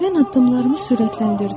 Mən addımlarımı sürətləndirdim.